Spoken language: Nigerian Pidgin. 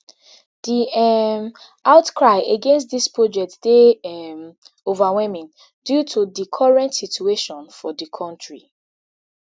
di um outcry against dis project dey um overwhelming due to di current situation for di kontri